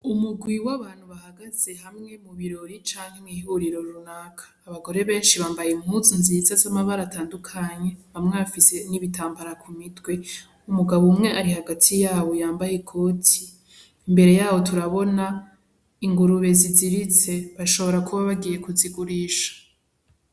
Umugwi w'abantu bahagaze hamwe mu birori canke mw'ihuriro runaka abagore benshi bambaye imumuzu nziza z'amabaratandukanye bamwafise n'ibitambara ku mitwe umugabo umwe ari hagati yabo yambaye i koti imbere yabo turabona ingurube ziziritse bashobora kuba bagiye kuzigurisha.